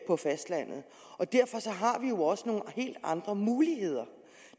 på fastlandet derfor har vi jo også nogle helt andre muligheder